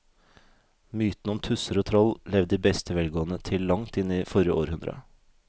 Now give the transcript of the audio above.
Mytene om tusser og troll levde i beste velgående til langt inn i forrige århundre.